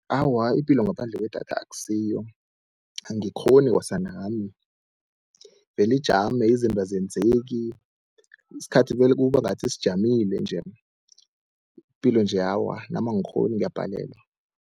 Awa, ipilo ngaphandle kwedatha akusiyo, angikghoni kwasa nami, ivele ijame izinto azenzeki, isikhathi vele kuba ngathi sijamile nje, ipilo nje awa nami angikghoni ngiyabhalelwa.